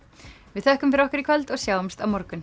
við þökkum fyrir okkur í kvöld og sjáumst á morgun